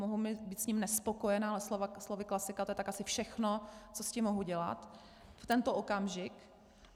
Mohu být s ním nespokojena, ale slovy klasika, to je tak asi všechno, co s tím mohu dělat v tento okamžik.